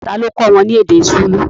Tá lo kọ́ wọn ní èdè Súlù